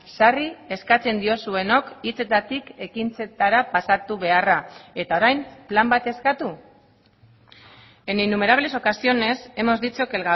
sarri eskatzen diozuenok hitzetatik ekintzetara pasatu beharra eta orain plan bat eskatu en innumerables ocasiones hemos dicho que